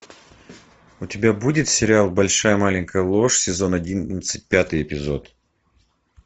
у тебя будет сериал большая маленькая ложь сезон одиннадцать пятый эпизод